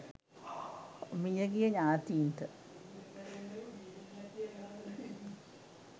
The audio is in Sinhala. මිය ගිය ඥාතීන්ට